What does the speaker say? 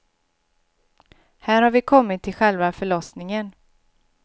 Här har vi kommit till själva förlossningen.